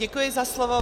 Děkuji za slovo.